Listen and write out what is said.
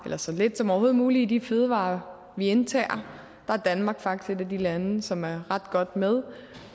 eller så lidt som overhovedet muligt i de fødevarer vi indtager der er danmark faktisk et af de lande som er ret godt med